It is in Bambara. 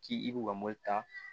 K'i i b'u ka mobili ta